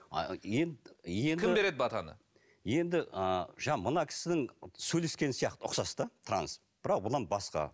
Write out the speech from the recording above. енді енді кім береді батаны енді ыыы жаңа мына кісінің сөйлескені сияқты ұқсас та транс бірақ бұдан басқа